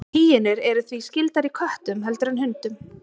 Hýenur eru því skyldari köttum heldur en hundum.